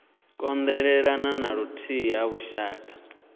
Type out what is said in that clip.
kondelelana na vhuthihi ha lushaka